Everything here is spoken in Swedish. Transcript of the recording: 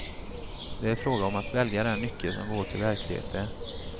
Det är fråga om att välja den nyckel som går till verkligheten.